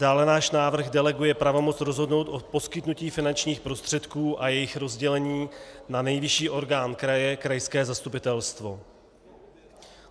Dále náš návrh deleguje pravomoc rozhodnout o poskytnutí finančních prostředků a jejich rozdělení na nejvyšší orgán kraje, krajské zastupitelstvo.